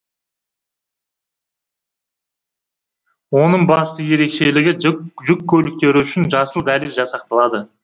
оның басты ерекшелігі жүк көліктері үшін жасыл дәліз жасақталады